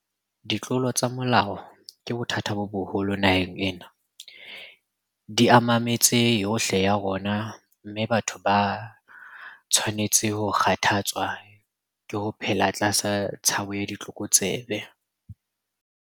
Ditlolo tsa molao ke bothata bo boholo naheng ena. Di ama metse yohle ya rona, mme batho ba a tshwanetse ho kgathatswa ke ho phela tlasa tshabo ya ditlokotsebe.